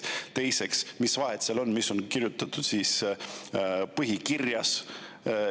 Teiseks, mis vahet seal on, mis on kirjutatud põhikirjas.